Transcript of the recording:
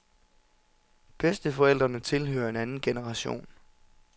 Bedsteforældrene tilhører en anden generation.